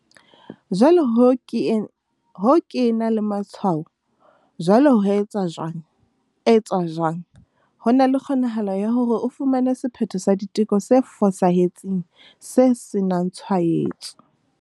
Jwale ho ke ena le matshwao. Jwale ho etswa jwang? etswa jwang? Ho na le kgonahalo ya hore o fumane sephetho sa diteko se fosahetseng se senangtshwaetso.